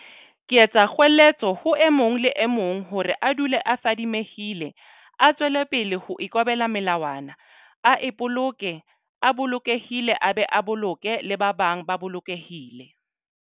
Ke etsa kgoeletso ho e mong le e mong hore a dule a fadimehile, a tswelepele ho ikobela melawana, a ipoloke a bolokehile a be a boloke le ba bang ba bolokehile.